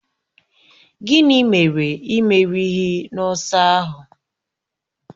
Gịnị mere ị merighi n'ọsọ ahụ?